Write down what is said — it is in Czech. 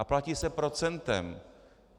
A platí se procentem.